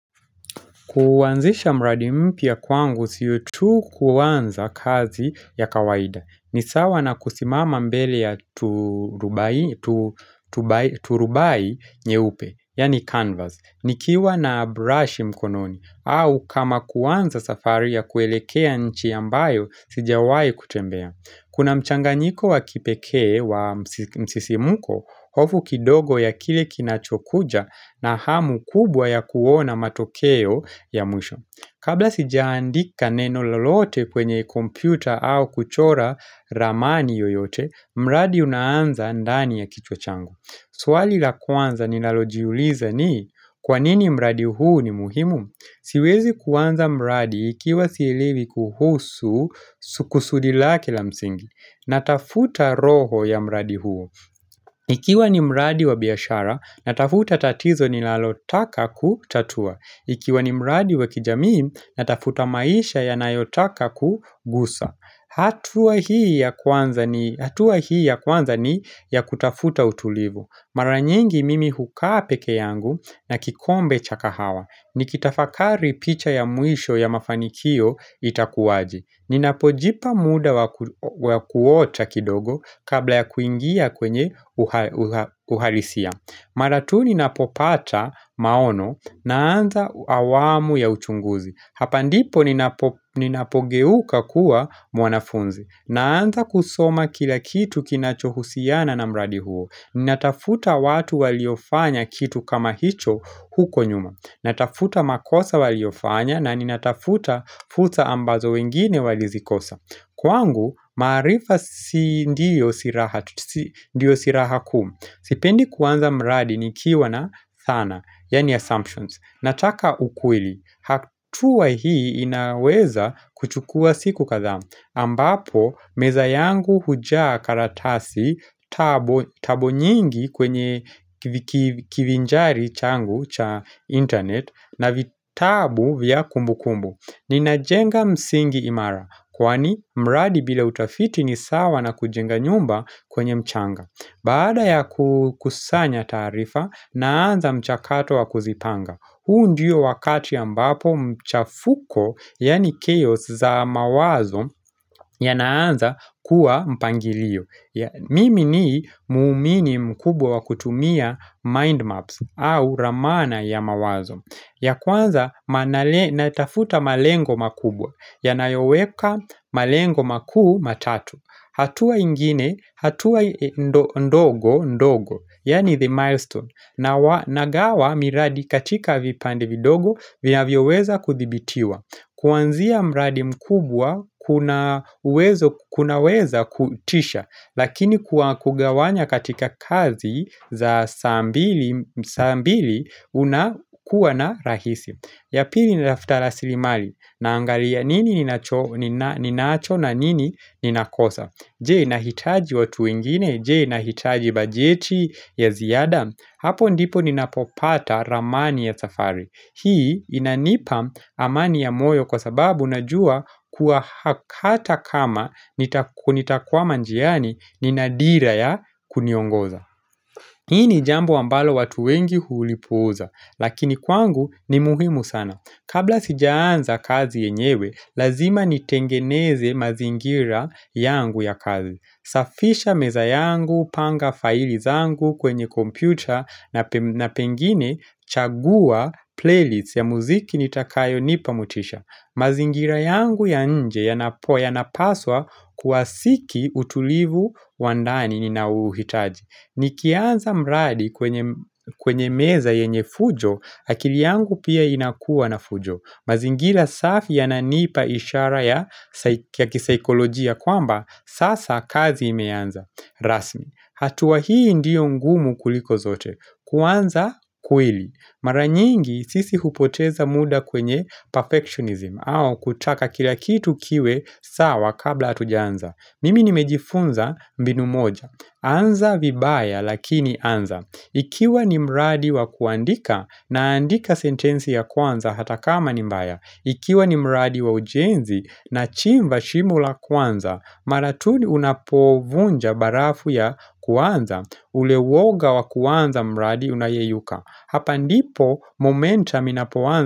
Kuwanzisha mradi mpya kwangu sio tu kuanza kazi ya kawaida. Ni sawa na kusimama mbele ya turubai nyeupe, yani canvas, nikiwa na brush mkononi, au kama kuwanza safari ya kuelekea nchi ambayo, sijawai kutembea. Kuna mchanganyiko wa kipekee wa msisimuko, hofu kidogo ya kile kinachokuja na hamu kubwa ya kuona matokeo ya mwisho. Kabla sijaandika neno lolote kwenye kompyuta au kuchora ramani yoyote, mradi unaanza ndani ya kichwa changu. Swali la kwanza ninalojiuliza ni, kwanini mradi huu ni muhimu? Siwezi kuwanza mradi ikiwa silewi kuhusu kusudi lake la msingi. Natafuta roho ya mradi huo. Ikiwa ni mradi wa biashara, natafuta tatizo nilalotaka kutatua. Ikiwa ni mradi wa kijamii, natafuta maisha yanayotaka kugusa. Hatua hii ya kwanza ni ya kutafuta utulivu. Maranyingi mimi hukaa peke yangu na kikombe cha kahawa. Nikitafakari picha ya mwisho ya mafanikio itakuwaje Ninapojipa muda wa kuota kidogo kabla ya kuingia kwenye uhalisia Mara tu ninapopata maono naanza awamu ya uchunguzi Hapa ndipo ninapogeuka kuwa mwanafunzi Naanza kusoma kila kitu kinachohusiana na mradi huo Ninatafuta watu waliofanya kitu kama hicho huko nyuma natafuta makosa waliofanya na ni natafuta futa ambazo wengine walizikosa Kwangu, marifa sindio silaha kuu Sipendi kuanza mradi ni kiwa na thana, yaani assumptions Nataka ukweli, hatua hii inaweza kuchukua siku kathaa ambapo, meza yangu hujaa karatasi tabu nyingi kwenye kivinjari changu cha internet na vitabu vya kumbu kumbu. Nina jenga msingi imara, kwani mradi bila utafiti ni sawa na kujenga nyumba kwenye mchanga. Baada ya kusanya taarifa, naanza mchakato wa kuzipanga. Huu ndiyo wakati ya mbapo mchafuko, yani chaos za mawazo, ya naanza kuwa mpangilio. Mimi ni muumini mkubwa wakutumia mindmaps au ramana ya mawazo. Ya kwanza natafuta malengo makubwa, ya nayoweka malengo makuu matatu. Hatua ingine, hatua ndogo, ndogo, yaani the milestone. Na nagawa miradi katika vipande vidogo vina vyo weza kuthibitiwa. Kuanzia mradi mkubwa kuna weza kutisha. Lakini kugawanya katika kazi za saa mbili unakuwa na rahisi. Yapili nilaftala silimali na angalia nini ninacho na nini ninakosa. Je nahitaji watu wengine. Je nahitaji bajeti ya ziada. Hapo ndipo ninapopata ramani ya safari. Hii inanipa amani ya moyo kwa sababu unajua kuahakata kama kunitakwama njiani ninadira ya kuniongoza. Hii ni jambo ambalo watu wengi hulipuuza. Lakini kwangu ni muhimu sana. Kabla sijaanza kazi yenyewe, lazima nitengeneze mazingira yangu ya kazi. Safisha meza yangu, panga faili zangu kwenye kompyuta na pengine chagua playlists ya muziki nitakayo nipamotisha. Mazingira yangu ya nje yanapo ya napaswa kuwasiki utulivu wandani ninaouhitaji. Nikianza mradi kwenye meza yenye fujo, akili yangu pia inakuwa na fujo. Mazingira safi yananipa ishara ya kisaikolojia kwamba, sasa kazi imeanza. Rasmi, hatua hii ndio ngumu kuliko zote. Kuanza, kweli. Maranyingi, sisi hupoteza muda kwenye perfectionism, au kutaka kila kitu kiwe sawa kabla hatujaanza. Mimi nimejifunza mbinu moja. Anza vibaya, lakini anza. Ikiwa ni mradi wa kuandika naandika sentensi ya kwanza hata kama ni mbaya. Ikiwa ni mradi wa ujenzi na chimba shimo la kwanza. Mara tu unapovunja barafu ya kwanza. Ule uwoga wa kwanza mradi unayeyuka. Hapa ndipo momentum inapowanza.